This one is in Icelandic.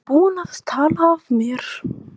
Ég er búinn að tala af mér.